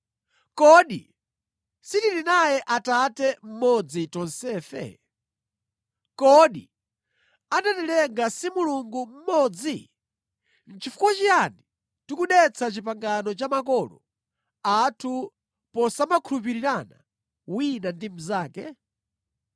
Kodi sitili naye Atate mmodzi tonsefe? Kodi anatilenga si Mulungu mmodzi? Chifukwa chiyani tikudetsa pangano la makolo athu posamakhulupirirana wina ndi mnzake?